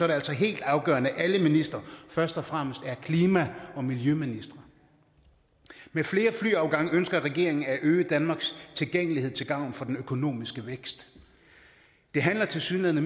det altså helt afgørende at alle ministre først og fremmest er klima og miljøministre med flere flyafgange ønsker regeringen at øge danmarks tilgængelighed til gavn for den økonomiske vækst det handler tilsyneladende